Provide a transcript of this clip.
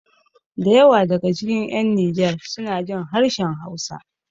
Da yawa daga cikin ƴan nijar sunajin harshen hausa